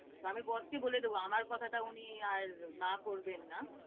আমি boss কে বলে দেবো, আমার কথাটা উনি আর না করবেন না।